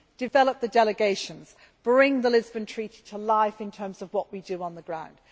develop the delegations bring the Lisbon Treaty to life in terms of what we do on the ground